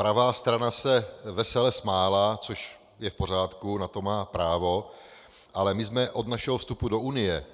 Pravá strana se vesele smála, což je v pořádku, na to má právo, ale my jsme od našeho vstupu do Unie